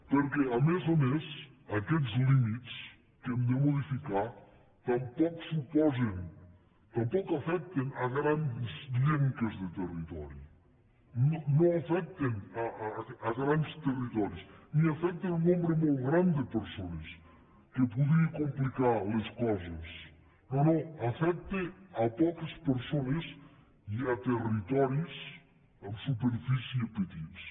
perquè a més a més aquests límits que hem de modificar tampoc afecten grans llenques de territori no afecten grans territoris ni afecten un nombre molt gran de persones que podria complicar les coses no no afecten poques persones i territoris en superfície petits